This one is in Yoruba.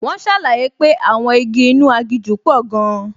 Wọ́n ṣàlàyé pé àwọn igi inú aginjù pò gan-an